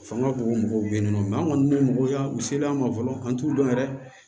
Fanga boko mɔgɔw be yen nɔ an kɔni bɛ mɔgɔw ya misaliya ma fɔlɔ an t'u dɔn yɛrɛ